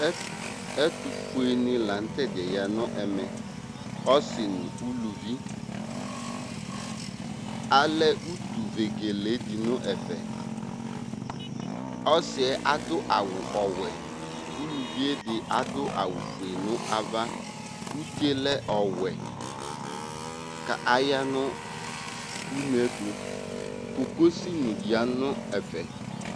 ɛtofue ni lantɛdiɛ ya no ɛmɛ ɔse no uluvi alɛ utu vegele di no ɛfɛ ɔsiɛ ado awu ɔwɛ uluvie di ado awu fue no ava utie lɛ ɔwɛ k'aya no uneɛto kokosi ni ya no ɛfɛ